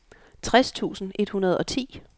tres tusind et hundrede og ti